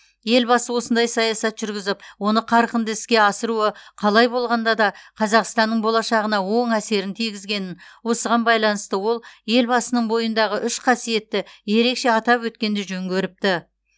елбасы осындай саясат жүргізіп оны қарқынды іске асыруы қалай болғанда да қазақстанның болашағына оң әсерін тигізгенін осыған байланысты ол елбасының бойындағы үш қасиетті ерекше атап өткенді жөн көріпті